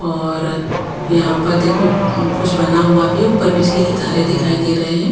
और यहाँ पर देखो कुछ बना हुआ भी है ऊपर बिजली की तारे दिखाई दे रहे हैं।